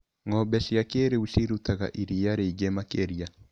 Ngombe cia kĩrĩũ cirutaga iria rĩingĩ makĩria.